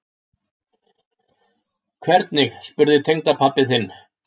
Hvernig spurði tengdapabbi þinn?